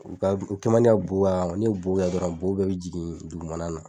U ka u kɛ man di ka bo a kan ni bo kɛ dɔrɔn bo bɛɛ be jigin dugumana na